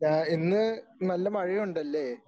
ഞാ ഇന്ന് നല്ല മഴയുണ്ടല്ലേ?